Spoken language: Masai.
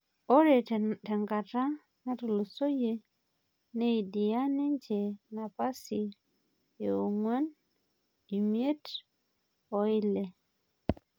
Ore tenkata natulusoyie neidia ninje napasi e ong'uan, imiet oo ile